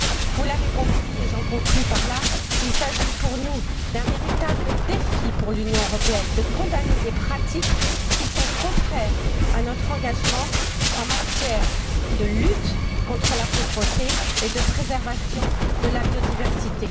Vous l'avez compris et j'en conclus il s'agit selon nous d'un véritable défi pour l'Union européenne, qui doit condamner des pratiques contraires à notre engagement en matière de lutte contre la pauvreté et de préservation de la biodiversité.